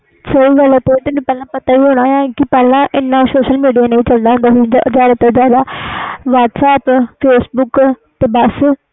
ਸਹੀ ਗੱਲ ਵ ਤੁਹਾਨੂੰ ਪਤਾ ਹੋਣਾ ਪਹਿਲੇ ਇਹਨਾਂ social media ਨਹੀਂ ਚਲਦਾ ਸੀ ਹੁਣ ਜਿਆਦਾ ਤੋਂ ਜਿਆਦਾ whatsapp facebook ਬਸ